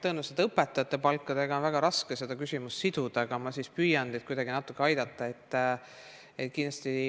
Tõenäoliselt on õpetajate palkadega seda küsimust väga raske siduda, aga ma siiski püüan teid natuke aidata.